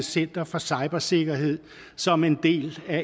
center for cybersikkerhed som en del af